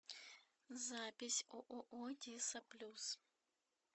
запись ооо диса плюс